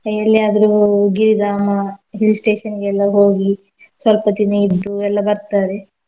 ಎಲ್ಲಿಯಾದ್ರೂ ಗಿರಿಧಾಮ hill station ಗೆಲ್ಲ ಹೋಗಿ ಸ್ವಲ್ಪ ದಿನ ಇದ್ದು ಎಲ್ಲ ಬರ್ತಾರೆ.